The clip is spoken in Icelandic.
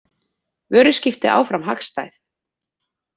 Vöruskipti áfram hagstæð